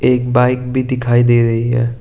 एक बाइक भी दिखाई दे रही है।